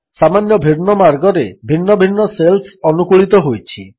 ସାମାନ୍ୟ ଭିନ୍ନ ମାର୍ଗରେ ଭିନ୍ନ ଭିନ୍ନ ଶେଲ୍ସ ଅନୁକୂଳିତ ହୋଇଛି